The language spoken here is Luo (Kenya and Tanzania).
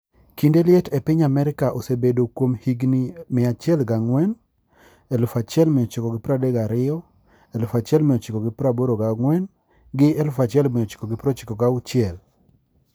kinde liet e piny Amerika osebedo kuom higni 104,1932,1984 gi 1996,